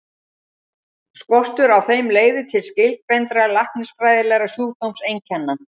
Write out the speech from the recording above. Skortur á þeim leiðir til skilgreindra læknisfræðilegra sjúkdómseinkenna.